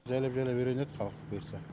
жайлап жайлап үйренеді халық бұйыртса